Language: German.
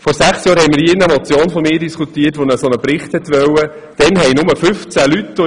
Vor sechs Jahren wurde hier im Rat eine Motion von mir diskutiert, die einen Bericht zu diesem Verhältnis verlangte.